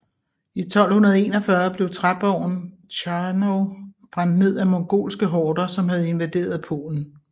I 1241 blev træborgen Chrzanów brændt ned af mongolske horder som havde invaderet Polen